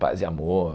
Paz e amor...